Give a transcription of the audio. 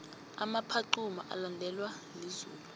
umaphaxuma ulandelwa lizulu